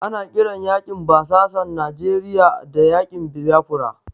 Ana kiran yaƙin basasan Nijeriya da yaƙin Biyafara.